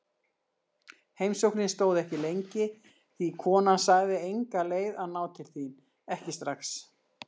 Heimsóknin stóð ekki lengi því konan sagði enga leið að ná til þín, ekki strax.